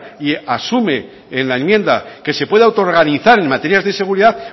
y asume en la enmienda que se pueda autoorganizar en materias de seguridad